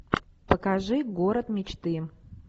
покажи город мечты